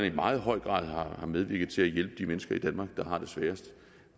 i meget høj grad har medvirket til at hjælpe de mennesker i danmark der har det sværest